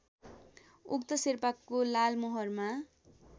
उक्त शेर्पाको लालमोहरमा